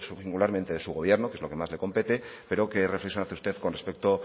singularmente de su gobierno que es lo que más le compete pero qué reflexión hace usted con respecto